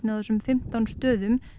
á þessum fimmtán stöðum